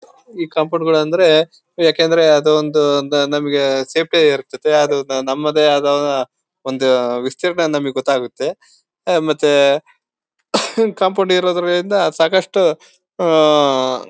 ಈ ಕಂಪೌಡ್ಗಳು ಅಂದ್ರೆ ಯಾಕೆಂದ್ರೆ ಅದು ಒಂದು ನಮಗೇ ಸೇಫ್ಟಿ ಆಗಿರ್ತದೆ ಅದು ನಮ್ಮದೇ ಆದ ಒಂದು ವಿಸ್ತಿರ್ಣ ನಮಗೆ ಗೊತ್ತಾಗುತ್ತೆ ಮತ್ತೆ ಕಾಂಪೌಂಡ್ ಇರೋದ್ರಿಂದ ಸಾಕಷ್ಟು ಉಹ್ಹ್--